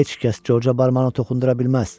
Heç kəs Corca barmağını toxundura bilməz.